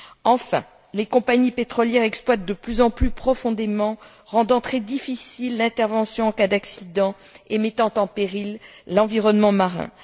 Enfin, les compagnies pétrolières exploitent de plus en plus profondément rendant très difficile l'intervention en cas d'accident et mettant en péril l'environnement marin.